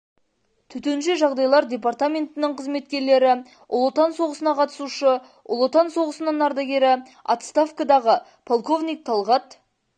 төтенше жағдайлар департаментінің қызметкерлері ұлы отан соғысына қатысушы ұлы отан соғысының ардагері оставкадағы полковник тәлғат